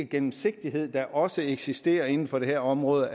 gennemsigtighed der også eksisterer inden for det her område